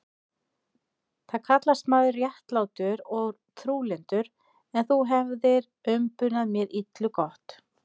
Þú kallast maður réttlátur og trúlyndur, en þú hefir umbunað mér illu gott.